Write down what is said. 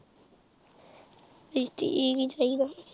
ਠੀਕ ਈ ਹੀ ਚਾਹੀਦਾ।